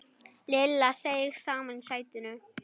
Lilla seig saman í sætinu.